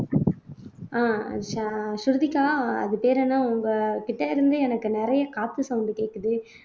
ஆஹ் ஸ ஸ்ருதிகா அது பேர் என்ன உங்ககிட்டே இருந்து எனக்கு நிறைய காத்து sound கேக்குது